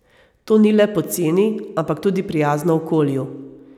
To ni le poceni, ampak tudi prijazno okolju.